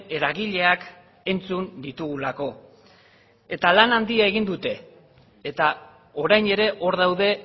eragileak entzun ditugulako eta lana handia egin dute eta orain ere hor daude